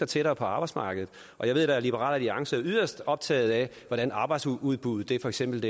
tættere på arbejdsmarkedet og jeg ved da at liberal alliance er yderst optaget af hvordan arbejdsudbuddet for eksempel